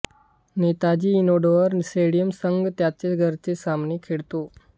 Netaji indoor स्टेडियमवर संघ त्यांचे घरचे सामने खेळतो